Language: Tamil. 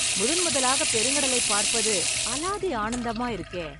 முதன்முதலாக பெருங்கடலை பார்ப்பது... அலாதி ஆனந்தமா இருக்கே...